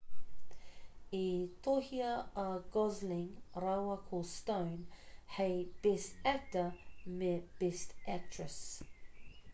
i tohua a gosling rāua ko stone hei best actor me best actress